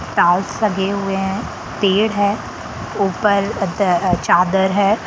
Tiles लगे हुए है पेड़ है ऊपर अद चादर है।